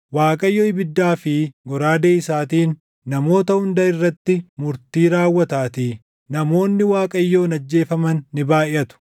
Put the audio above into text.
Waaqayyo ibiddaa fi goraadee isaatiin namoota hunda irratti murtii raawwataatii; namoonni Waaqayyoon ajjeefaman ni baayʼatu.